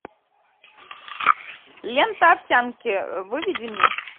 лента овсянки выведи мне